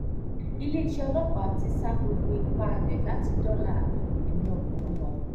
iléeṣẹ́ ọlọ́pàá ti ń sa gbogbo ipá rẹ̀ láti dóòlà ẹ̀mí ọkùnrin ọ̀hún